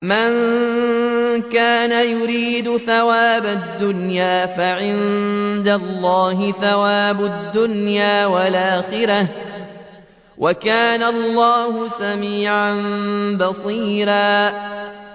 مَّن كَانَ يُرِيدُ ثَوَابَ الدُّنْيَا فَعِندَ اللَّهِ ثَوَابُ الدُّنْيَا وَالْآخِرَةِ ۚ وَكَانَ اللَّهُ سَمِيعًا بَصِيرًا